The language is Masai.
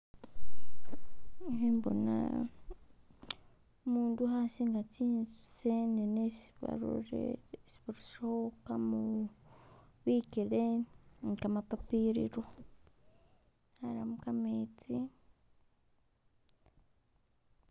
Ikhembona umundu khasinga tsi'senene isi barusilekho kamoru, bikele ne kamapapiriro aramo kametsi